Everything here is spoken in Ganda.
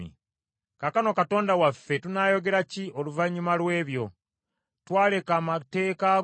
“Kaakano Katonda waffe tunaayogera ki oluvannyuma lw’ebyo? Twaleka amateeka go